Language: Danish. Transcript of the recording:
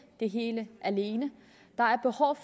det hele alene